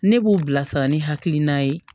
Ne b'u bilasira ni hakilina ye